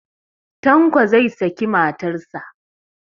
Tanko zai saki matarsa.